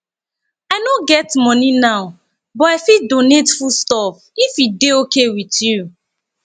i no get money now but i fit donate food stuff if e dey okay with you